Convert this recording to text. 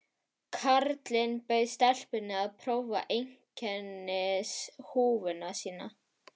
Karlinn bauð stelpunni að prófa einkennishúfuna sína.